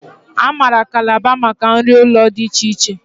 A maara Kalaba maka nri ụlọ dị iche iche